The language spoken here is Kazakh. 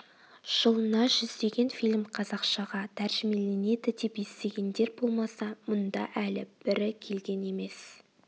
жылына жүздеген фильм қазақшаға тәржімеленеді деп естігендер болмаса мұнда әлі бірі келген емес